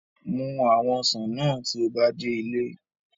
Mus awon osan naa ti o ba de ile